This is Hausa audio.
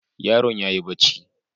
Yaron yayi bacci.